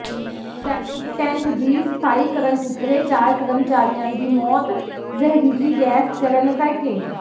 septic tank ਦੀ ਸਫਾਈ ਕਰਨ ਉੱਤਰੇ ਚਾਰ ਕਰਮਚਾਰੀਆਂ ਦੀ ਮੌਤ ਜ਼ਹਿਰੀਲੀ ਗੈਸ ਚੜ੍ਹਨ ਕਰਕੇ